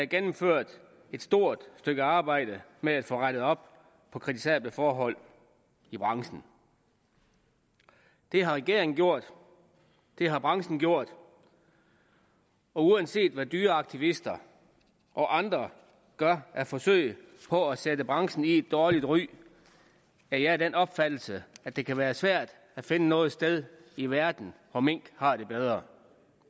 gennemført et stort stykke arbejde med at få rettet op på kritisable forhold i branchen det har regeringen gjort det har branchen gjort og uanset hvad dyreaktivister og andre gør af forsøg på at sætte branchen i et dårligt ry er jeg af den opfattelse at det kan være svært at finde noget sted i verden hvor mink har det bedre